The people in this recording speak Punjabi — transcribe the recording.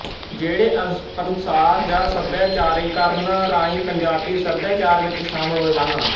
ਜਿਹੜੇ ਅੰਸ਼ਪ੍ਰਸਾਰ ਜਾਂ ਸੱਭਿਆਚਾਰੀਕਰਨ ਰਾਹੀ ਪੰਜਾਬੀ ਸੱਭਿਆਚਾਰ ਵਿੱਚ ਸ਼ਾਮਲ ਹੋਏ ਹਨ